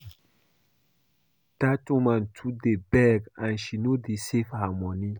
Dat woman too dey beg and she no dey save her money